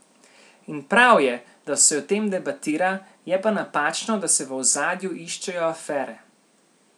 In prav je, da se o tem debatira, je pa napačno, da se v ozadju iščejo afere.